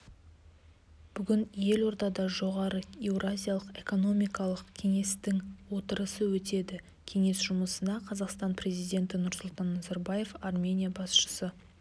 бүгін елордада жоғары еуразиялық экономикалық кеңестің отырысы өтеді кеңес жұмысына қазақстан президенті нұрсұлтан назарбаев армения басшысы